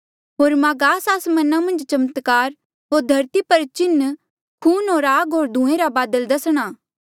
होर मां गास आसमाना मन्झ चमत्कार होर धरती पर चिन्ह खून होर आग होर धुएँ रा बादल दसणा